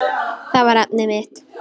Það var efnið mitt.